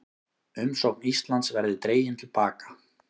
Umsókn Íslands verði dregin til baka